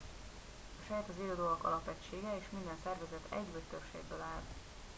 a sejt az élő dolgok alapegysége és minden szervezet egy vagy több sejtből áll